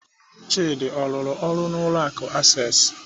Chidi ọ rụrụ ọrụ n'ụlọ akụ Access?